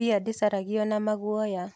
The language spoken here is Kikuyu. Mbĩa ndĩciarago na maguoya.